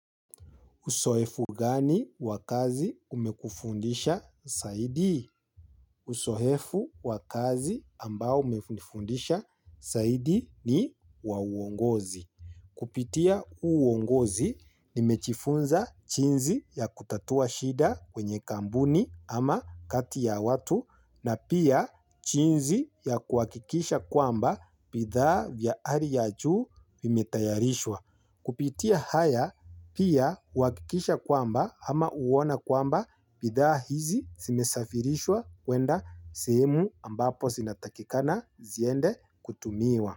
Uzoefu gani wa kazi umekufundisha zaidi? Uzoefu wa kazi ambao umenifundisha zaidi ni wa uongozi. Kupitia uongozi nimejifunza jinsi ya kutatua shida kwenye kambuni ama kati ya watu na pia jinsi ya kuakikisha kwamba bithaa vya hali ya juu vimetayarishwa. Kupitia haya pia huwakikisha kwamba ama huona kwamba bidhaa hizi zimesafirishwa kwenda sehemu ambapo zinatakikana ziende kutumiwa.